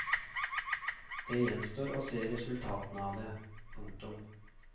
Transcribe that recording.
Det gjenstår å se resultatene av det. punktum